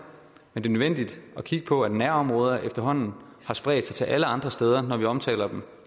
men det er nødvendigt at kigge på at nærområder efterhånden har spredt sig til alle andre steder når vi omtaler dem